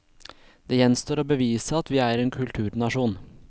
Det gjenstår å bevise at vi er en kulturnasjon.